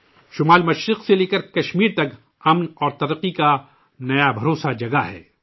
شمال مشرق سے لیکر کشمیر تک امن و ترقی کا ایک نیا بھروسہ جگا ہے